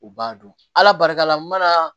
U b'a dɔn ala barika la n mana